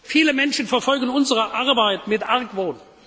Viele Menschen verfolgen unsere Arbeit mit Argwohn.